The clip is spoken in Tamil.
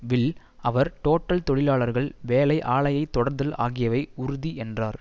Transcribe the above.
வில் அவர் டோட்டல் தொழிலாளர்கள் வேலை ஆலையை தொடர்தல் ஆகியவை உறுதி என்றார்